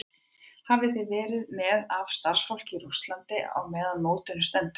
Hvað verðið þið með af starfsfólki í Rússlandi meðan á mótinu stendur?